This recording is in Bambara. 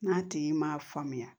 N'a tigi m'a faamuya